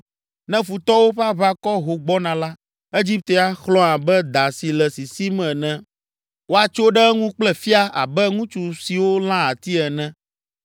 Ne futɔwo ƒe aʋakɔ ho gbɔna la, Egipte axlɔ̃ abe da si le sisim ene, woatso ɖe eŋu kple fia abe ŋutsu siwo lãa ati ene.